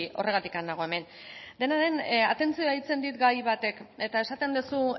horregatik nago hemen dena den atentzioa deitzen dit gai batek eta esaten duzu